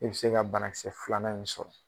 E bi se ka banakisɛ filanan in sɔrɔ.